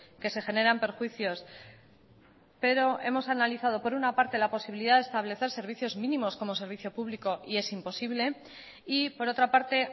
que se generan perjuicios pero hemos analizado por una parte la posibilidad de establecer servicios mínimos como servicio público y es imposible y por otra parte